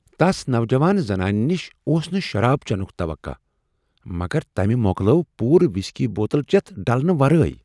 تس نوجوان زنانہ نش اوس نہٕ شراب چینک توقع مگر تمہ مۄکلٲو پورٕ وسکی بوتل چیتھ ڈلنہ ورٲے۔